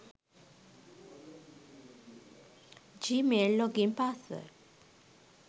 gmail login password